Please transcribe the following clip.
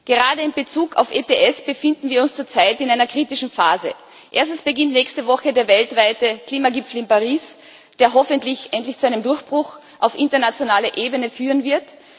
Gerade in Bezug auf ETS befinden wir uns zurzeit in einer kritischen Phase. Erstens beginnt nächste Woche der weltweite Klimagipfel in Paris, der hoffentlich endlich zu einem Durchbruch auf internationaler Ebene führen wird.